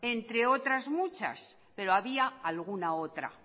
entre otras muchas pero había alguna otra